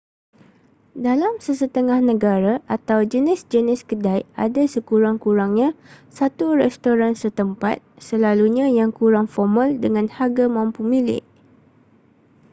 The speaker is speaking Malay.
dalam sesetengah negara atau jenis-jenis kedai ada sekurang-kurangnya satu restoran setempat selalunya yang kurang formal dengan harga mampu milik